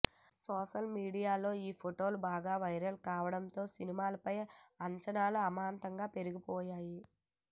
social మీడియాలో ఈ ఫొటోలు బాగా వైరల్ కావడంతో సినిమాపై అంచనాలు అమాంతం పెరిగిపోయాయి